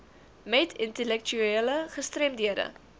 met intellektuele gestremdhede